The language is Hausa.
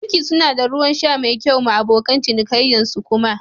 Banki suna da Ruwan sha mai kyau ma abokan cinikayyan su kuma